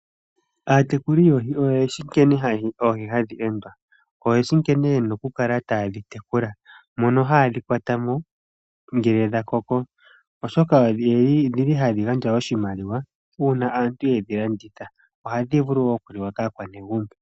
Aatekuli yoohi oyeshi nkene hadhi endwa, oyeshi nkene ye na oku kala haye dhi tekula ,mono haye dhi kwata mo ngele dha koko oshoka odhili hadhi gandja oshimaliwa uuna aantu yedhi landitha ohadhi vulu wo oku li wa kaakwanegumbo.